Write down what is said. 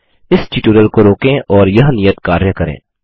इस ट्यूटोरियल को रोकें और यह नियत कार्य करें